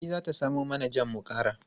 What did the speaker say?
Fati za ta samo mana jam mu kara.